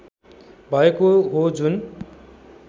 भएको हो जुन